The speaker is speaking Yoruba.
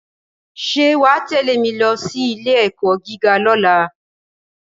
Ṣé wà á tẹ̀lé mi lọ sí ilé-ẹ̀kọ́ gíga lọ́la.